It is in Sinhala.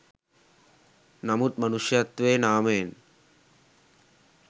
නමුත් මනුෂ්‍යත්වයේ නාමයෙන්